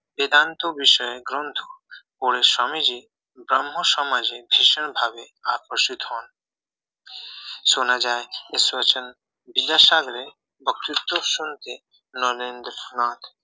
বেদান্ত বিষয়ে গ্রন্থ পড়ে স্বামীজি ব্রাহ্মণ সমাজে ভীষণ ভাবে আকর্ষিত হন শোনা যায় ঈশ্বরচন্দ্র বিদ্যাসাগরের বক্তৃতা সম্পর্কে নরেন্দ্রনাথ